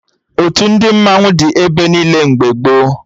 Otu ndị mmanwụ dị ebe niile mgbe gboo